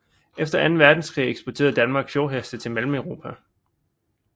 Efter anden verdenskrig eksporterede Danmark fjordheste til Mellemeuropa